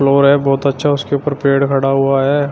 और ये बहुत अच्छा उसके ऊपर पेड़ खड़ा हुआ है।